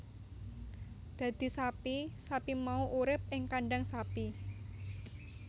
Dadi sapi sapi mau urip ing kandhang sapi